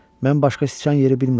Mən başqa sıçan yeri bilmirəm.